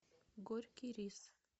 горький рис